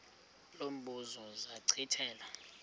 lo mbuzo zachithela